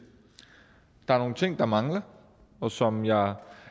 der er nogle ting der mangler og som jeg